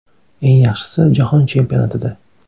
Eng yaxshisi, jahon chempionatida.